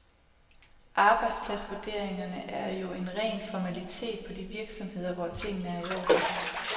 Arbejdspladsvurderingerne er jo en ren formalitet på de virksomheder, hvor tingene er i orden.